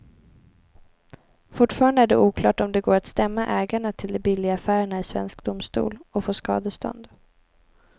Fortfarande är det oklart om det går att stämma ägarna till de billiga affärerna i svensk domstol och få skadestånd.